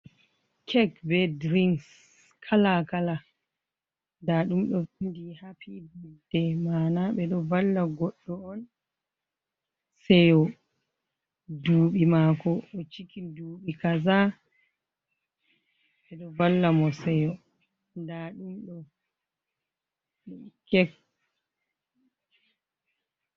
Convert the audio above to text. Kek be dirinks, kala-kala. Nda ɗum ɗo vinndi haapi batde, maana ɓe ɗo valla goɗɗo on seyo. Duuɓi maako o ciki duuɓi kaza, ɓe ɗo valla mo seyo je.